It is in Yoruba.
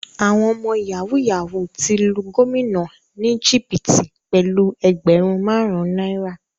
Àwọn ọmọ yahoo yahoo ti lu gómìnà ni jìbìtì pẹlú ẹgbẹrun marun náírà.